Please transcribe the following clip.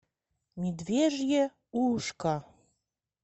медвежье ушко